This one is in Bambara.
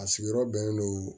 A sigiyɔrɔ bɛnnen don